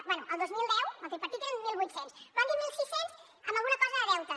bé el dos mil deu amb el tripartit eren mil vuit cents però han dit mil sis cents amb alguna cosa de deute